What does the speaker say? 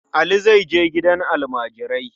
Ali zai je gidan almajirai.